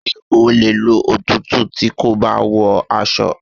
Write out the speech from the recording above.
Ṣé o le ló òtútù tí kò bá wọ aṣọ?